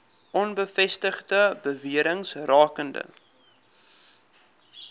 onbevestigde bewerings rakende